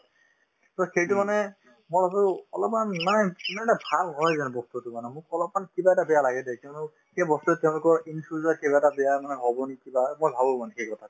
to সেইটো মানে মই ভাবো অলপমান মানে ইমান এটা ভাল হয় জানো বস্তুতো মানে মোক অলপমান কিবা এটা বেয়া লাগে দেই কিয়নো সেই বস্তুতো তেওঁলোকৰ in future কিবা এটা বেয়া মানে হব নেকি বা মই ভাবো মানে সেই কথাটো